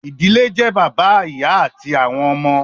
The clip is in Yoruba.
ìdílé jẹ́ bàbá, ìyá àti àwọn ọmọ